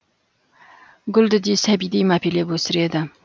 гүлді де сәбидей мәпелеп өсіреді